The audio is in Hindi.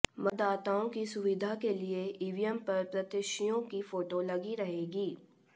मतदाताओं की सुविधा के लिए ईवीएम पर प्रत्याशियों की फोटो लगी रहेगी